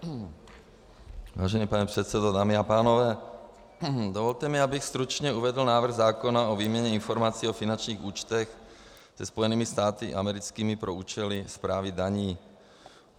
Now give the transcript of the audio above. Vážený pane předsedo, dámy a pánové, dovolte mi, abych stručně uvedl návrh zákona o výměně informací o finančních účtech se Spojenými státy americkými pro účely správy daní.